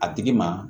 A tigi ma